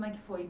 é que foi?